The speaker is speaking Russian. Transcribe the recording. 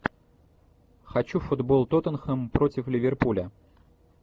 хочу футбол тоттенхэм против ливерпуля